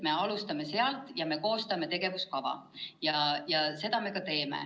Me alustame sealt ja koostame tegevuskava.